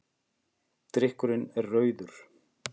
Drykkurinn er rauður.